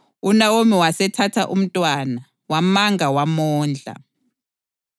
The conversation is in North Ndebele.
UNawomi wasethatha umntwana, wamanga, wamondla.